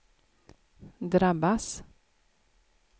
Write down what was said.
drabbas